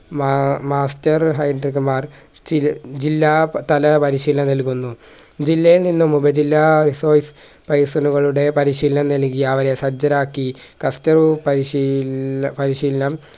മാ master മാർ ജി ജില്ലാ തല പരിശീലനം നൽകുന്നു ജില്ലയിൽനിന്നും ഉപജില്ലാ ടെ പരിശീലനം നൽകി അവരെ സജ്ജരാക്കി പരിശീ പരിശീലനം